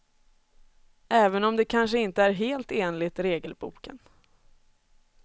Även om det kanske inte är helt enligt regelboken.